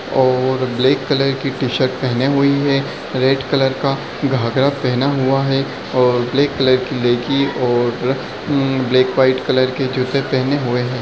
और black colour की T shirt पहने हुई है रेड कलर का घाघरा पहना हुआ है और ब्लैक कलर की लेगी और हम ब्लैक व्हाइट कलर के जूते पहने हुए है।